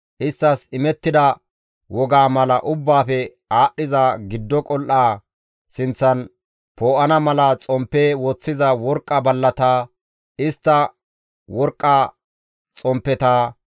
isttas imettida wogaa mala Ubbaafe Aadhdhiza Giddo qol7aa sinththan poo7ana mala xomppe woththiza worqqa ballata, istta worqqa xomppeta,